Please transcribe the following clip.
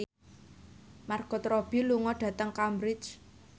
Margot Robbie lunga dhateng Cambridge